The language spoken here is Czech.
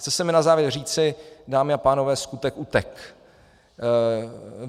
Chce se mi na závěr říci, dámy a pánové, skutek utek'.